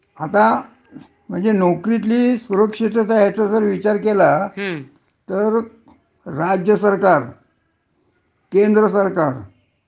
आता, म्हणजे नोकरीतली सुरक्षितता याचं जर विचार केला, हं. तर राज्यसरकार, केंद्रसरकार,